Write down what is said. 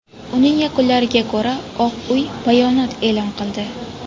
Uning yakunlariga ko‘ra Oq Uy bayonot e’lon qildi.